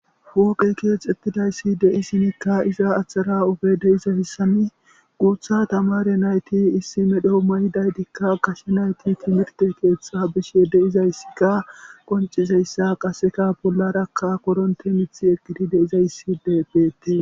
Wooqe keex ettidayssi dei sinikka iza aththara obe deizahissani guutha tamare nayti issi medho mayi daytikka kashe nayti timirte keeththa bishye de'izayssika qoncizayssa qaseka bollarakka koronte mithi eqqidi de izayssi de beette